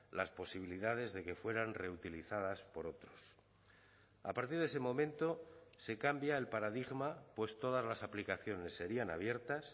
las posibilidades de que fueran reutilizadas por otros a partir de ese momento se cambia el paradigma pues todas las aplicaciones serían abiertas